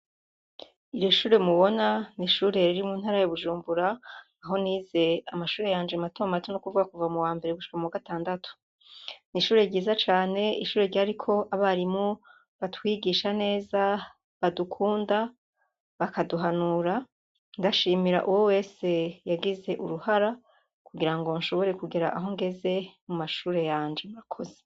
Ir'ishure mubona n'ishure riri mu ntara ya Bujumbura aho nize amashure yanje matomato n'ukuvuga kuva mu wambere gushika mu wagatandatu, n'ishure ryiza cane ishure ryariko abarimu batwigisha neza badukunda bakaduhanura ndashimira uwowese yagize uruhara kugirango nshobore kugera aho ngeze mu mashure yanje akuze.